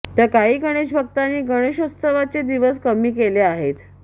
तर काही गणेशभक्तांनी गणेशोत्सवाचे दिवस कमी केले आहेत